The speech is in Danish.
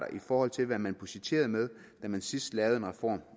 i forhold til hvad man budgetterede med da man sidst lavede en reform